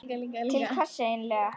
Til hvers eigin lega?